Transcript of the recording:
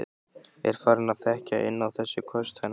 Er farin að þekkja inn á þessi köst hennar.